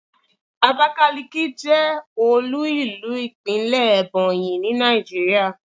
abakaliki je olú ìlú ìpínlè Ebonyi ni Naijiria